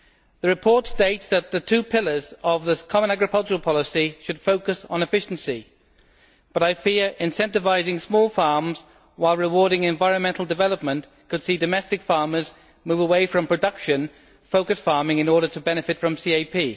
The report states that the two pillars of the common agricultural policy should focus on efficiency, but I fear incentivising small farms while rewarding environmental development could see domestic farmers move away from production focused farming in order to benefit from the CAP.